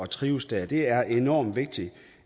trives der det er enormt vigtigt